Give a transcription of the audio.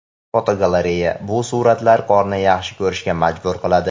Fotogalereya: Bu suratlar qorni yaxshi ko‘rishga majbur qiladi!.